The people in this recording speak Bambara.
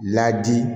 Ladi